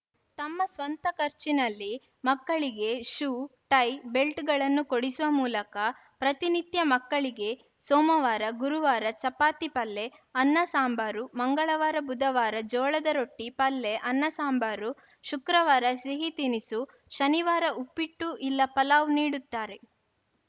ತಮ್ಮ ಸ್ವಂತ ಖರ್ಚಿನಲ್ಲಿ ಮಕ್ಕಳಿಗೆ ಶೂ ಟೈ ಬೆಲ್ಟ್‌ಗಳನ್ನು ಕೊಡಿಸುವ ಮೂಲಕ ಪ್ರತಿನಿತ್ಯ ಮಕ್ಕಳಿಗೆ ಸೋಮವಾರ ಗುರುವಾರ ಚಪಾತಿ ಪಲ್ಲೆ ಅನ್ನ ಸಾಂಬಾರು ಮಂಗಳವಾರ ಬುಧವಾರ ಜೋಳದ ರೊಟ್ಟಿ ಪಲ್ಲೆ ಅನ್ನ ಸಾಂಬಾರು ಶುಕ್ರವಾರ ಸಿಹಿ ತಿನಿಸು ಶನಿವಾರ ಉಪ್ಪಿಟ್ಟು ಇಲ್ಲ ಪಲಾವ್‌ ನೀಡುತ್ತಾರೆ